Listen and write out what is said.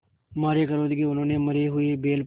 मारे क्रोध के उन्होंने मरे हुए बैल पर